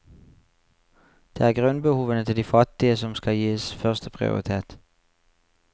Det er grunnbehovene til de fattige som skal gis førsteprioritet.